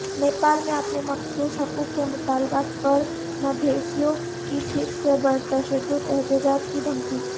نیپال میں اپنے مخصوص حقوق کے مطالبات پرمدھیسیوں کی پھر سے پرتشدد احتجاج کی دھمکی